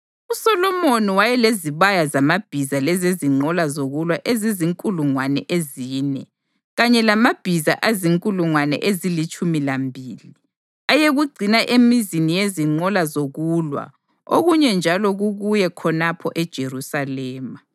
USolomoni wayelezibaya zamabhiza lezezinqola zokulwa ezizinkulungwane ezine, kanye lamabhiza azinkulungwane ezilitshumi lambili, ayekugcina emizini yezinqola zokulwa okunye njalo kukuye khonapho eJerusalema.